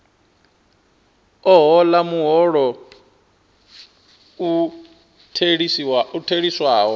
a hola muholo u theliswaho